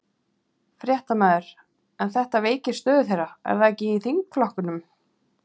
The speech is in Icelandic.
Fréttamaður: En þetta veikir stöðu þeirra, er það ekki, í þingflokknum?